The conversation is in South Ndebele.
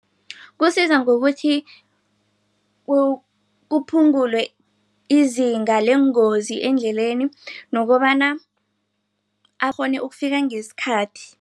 Kusiza ngokuthi kuphungulwe izinga leengozi endleleni nokobana akghone ukufika ngesikhathi.